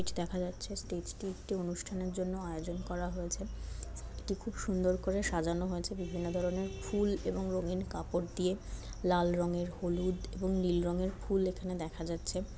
ছি দেখা যাচ্ছে। স্টেজ - টি একটি অনুষ্ঠানের জন্য আয়োজন করা হয়েছে। একটি খুব সুন্দর করে সাজানো হয়েছে। বিভিন্ন ধরণের ফুল এবং রঙিন কাপড় দিয়ে। লাল রঙের হলুদ এবং নীল রঙের ফুল এখানে দেখা যাচ্ছে।